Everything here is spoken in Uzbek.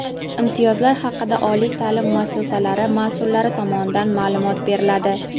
imtiyozlar haqida oliy ta’lim muassasalari mas’ullari tomonidan ma’lumot beriladi.